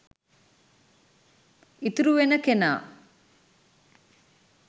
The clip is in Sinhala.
ඉතුරු වෙන කෙනා